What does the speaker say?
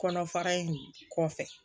Kɔnɔ fara in kɔfɛ